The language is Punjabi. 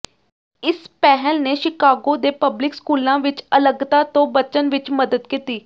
ਇਸ ਪਹਿਲ ਨੇ ਸ਼ਿਕਾਗੋ ਦੇ ਪਬਲਿਕ ਸਕੂਲਾਂ ਵਿੱਚ ਅਲੱਗਤਾ ਤੋਂ ਬਚਣ ਵਿੱਚ ਮਦਦ ਕੀਤੀ